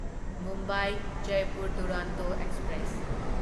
Mumbai Jaipur Duronto express